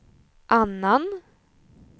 annan